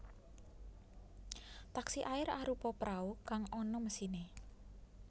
Taksi air arupa prau kang ana mesiné